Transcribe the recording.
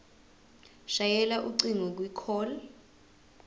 shayela ucingo kwicall